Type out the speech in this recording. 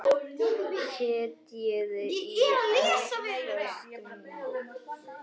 Setjið í eldfast mót.